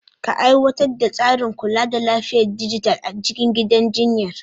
Ka aiwatar da tsarin kula da lafiyar dijital a cikin gidan jinyar.